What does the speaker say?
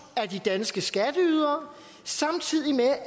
af de danske skatteydere samtidig med